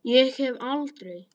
Ég hef aldrei.